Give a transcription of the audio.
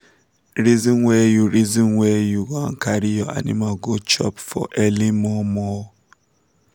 reason where u reason where u wan carry your animals go chop for early mor mor